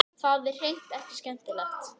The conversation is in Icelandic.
Og það er hreint ekki skemmtilegt.